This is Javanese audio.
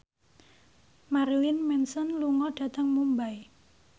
Marilyn Manson lunga dhateng Mumbai